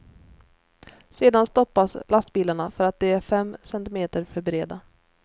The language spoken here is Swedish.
Sedan stoppas lastbilarna för att de är fem centimeter för breda.